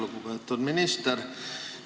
Lugupeetud minister!